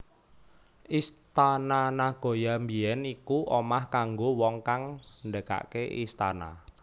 Istana Nagoya biyen iku omah kanggo wong kang ngdekake istana